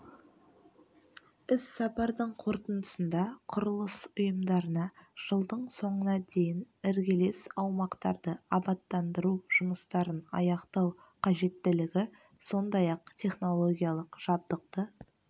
іс-сапардың қорытындысында құрылыс ұйымдарына жылдың соңына дейін іргелес аумақтарды абаттандыру жұмыстарын аяқтау қажеттілігі сондай-ақ технологиялық жабдықты